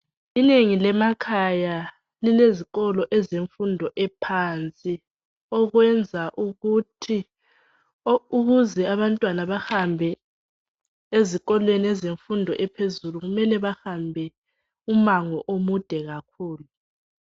Inengi lemakhaya lilezikolo ezemfundo yaphansi okwenza ukuthi abantwana bahambe ezikolweni ezemfundo ephezulu kumele bahambe umango omude kakhulu.